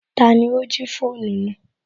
Tani ó jí fóònù náà